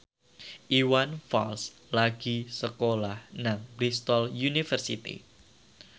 Iwan Fals lagi sekolah nang Bristol university